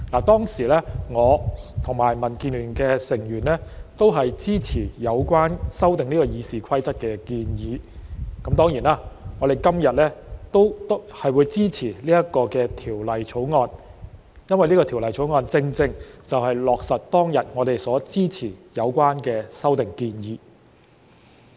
當時，我和民建聯的成員也支持有關修訂《議事規則》的建議，當然，我們今天也會支持《條例草案》，因為它正正落實了我們當天支持的有關修訂建議。